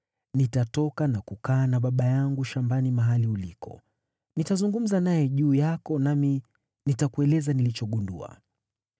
Nitatoka na kukaa na baba yangu shambani mahali uliko. Nitazungumza naye juu yako, nami nitakueleza nitakachogundua.”